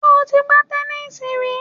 Sé o ti gbá tẹnísíì rí